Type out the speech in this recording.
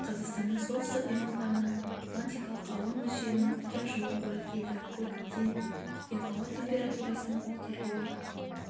қазақстанның солтүстік аймақтарына атлантикалық ауа мөлшерінің үлкен жылу қоры келді бұл көптен күткен ауа температурасының көтерілуі